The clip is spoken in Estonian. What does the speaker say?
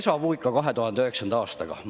Mul on déjà-vu seoses 2009. aastaga.